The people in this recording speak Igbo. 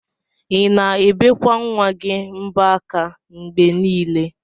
Ina ebekwa nwa gi mbo aka mgbe nile?